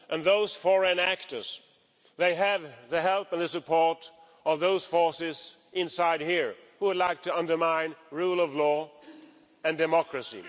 And those foreign actors, they have the help and the support of those forces inside here, who would like to undermine the rule of law and democracy.